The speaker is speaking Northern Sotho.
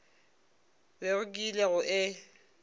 bego ke ile go e